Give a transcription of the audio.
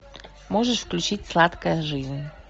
можешь включить сладкая жизнь